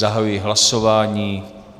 Zahajuji hlasování.